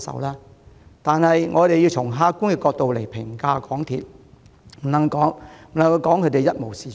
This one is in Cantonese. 可是，我們也須從客觀角度評價港鐵，不能把它說成一無是處。